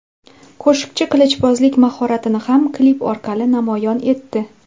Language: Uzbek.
Qo‘shiqchi qilichbozlik mahoratini ham klip orqali namoyon etdi.